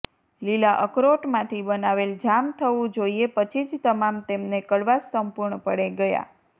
લીલા અખરોટ માંથી બનાવેલ જામ થવું જોઇએ પછી જ તમામ તેમને કડવાશ સંપૂર્ણપણે ગયા